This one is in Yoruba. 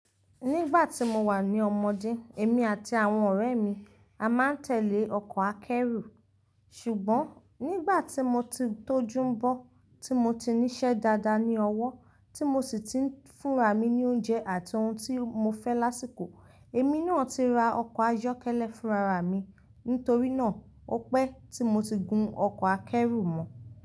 Nígbà tí mo wà ní ọmọdé, èmi àti àwọn ọ̀rẹ́ mi a máa ń tẹ̀lé ọkọ̀ akẹ́rù. Ṣùgbọ́n nígbà tí mo ti tójú n bo, tí mo ti ní iṣẹ́ dáadáa ní ọwọ́, tí mo sì ti ń fúnra mi ní oúnjẹ àti ohun tí mo fẹ́ lásìkò, èmi náà ti ra ọkọ̀ ayọ́kẹ́lẹ́ fúnra ra mi. Nítorí náà, ó pẹ́ tí mo ti gun ọkọ̀ akẹ́rù mọ́.